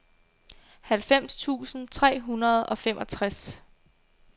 halvfems tusind tre hundrede og femogtres